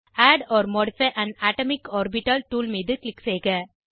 add or modify an atomic orbital tool மீது click செய்க